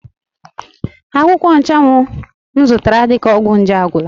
Akwụkwọ Nchanwụ m zụtara dịka ọgwụ nje agwụla.